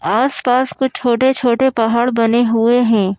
आस पास कुछ छोटे छोटे पहाड़ बने हुए है।